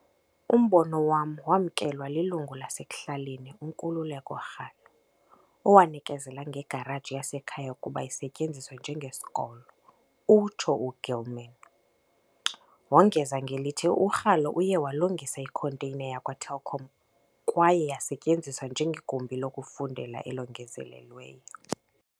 "Umbono wam wamkelwa lilungu lasekuhlaleni uNkululeko Ralo, owanikezela ngegaraji yasekhaya ukuba isetyenziswe njengesikolo," utsho u-Gilman. Wongeza ngelithi uRalo uye walungisa ikhonteyina yakwa-Telkom kwaye yasetyenziswa njengegumbi lokufundela elongezelelweyo.